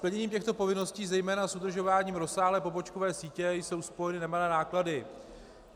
Splněním těchto povinností, zejména s udržováním rozsáhlé pobočkové sítě, jsou spojeny nemalé náklady.